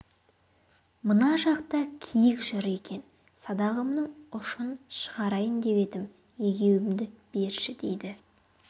мына жақта киік жүр екен садағымның ұшын шығарайын деп едім егеуімді берші дейді